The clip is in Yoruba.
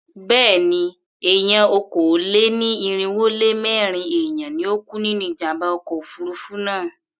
Béèni, èèyàn okòó-lé-ní-irínwó-lé-mẹ́rin èèyàn ni ó kú nínú ìjàmbá ọkọ̀ òfurufú náà.